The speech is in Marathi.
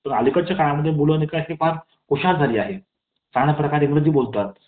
तर अलीकडचा काळात मुलं हि फार हुशार झाली आहेत . चांगल्या प्रकारे इंग्रजी बोलतात